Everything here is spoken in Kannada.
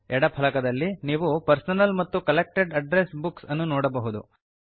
ಎಡ ಫಲಕದಲ್ಲಿ ನೀವು ಪರ್ಸನಲ್ ಮತ್ತು ಕಲೆಕ್ಟೆಡ್ ಅಡ್ರೆಸ್ ಬುಕ್ಸ್ ಅನ್ನು ನೋಡಬಹುದು